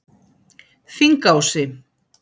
Þingási